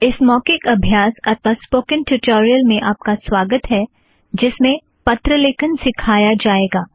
इस मौखिक अभ्यास अथ्वा स्पोकन ट्युटोरियल में आप का स्वागत है जिस में पत्र लिखना सिखाया जाएगा